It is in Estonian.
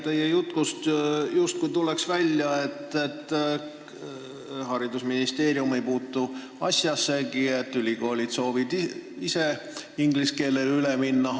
Teie jutust tuleks justkui välja, nagu haridusministeerium ei puutukski asjasse, sest ülikoolid soovivad ise inglise keelele üle minna.